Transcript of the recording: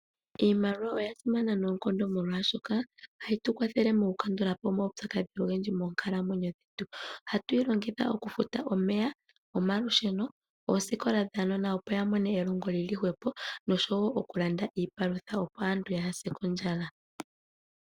Iimaliwa oya simana noonkondo, molwashoka ohayi tu kwathele mokukandula po omaupyakadhi ogendji moonkalamwenyo dhetu. Ohatu yi longitha okufuta omeya, omalusheno, oosikola dhaanona, opo ya mone elongo li li hwepo nosho wo okulanda iipalutha, opo aantu yaa se kondjala.